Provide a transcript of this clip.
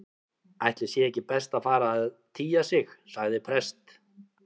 Ætli sé ekki best að fara að tygja sig- sagði prest